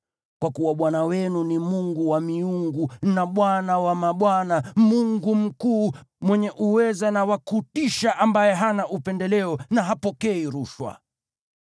Kwa kuwa Bwana Mungu wenu ni Mungu wa miungu na Bwana wa mabwana, Mungu mkuu, mwenye uweza na wa kutisha, ambaye hana upendeleo na hapokei rushwa.